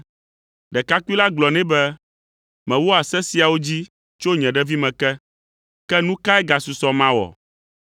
Ɖekakpui la gblɔ nɛ be, “Mewɔa se siawo dzi tso nye ɖevime ke, ke nu kae gasusɔ mawɔ?”